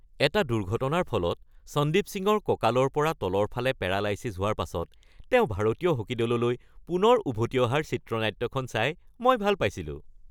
এটা দুৰ্ঘটনাৰ ফলত সন্দীপ সিঙৰ কঁকালৰ পৰা তলৰ ফালে পেৰালাইছিছ হোৱাৰ পাাছত তেওঁ ভাৰতীয় হকী দললৈ পুনৰ উভতি অহাৰ চিত্ৰনাট্যখন চাই মই ভাল পাইছিলোঁ।